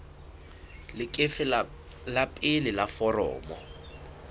leqephe la pele la foromo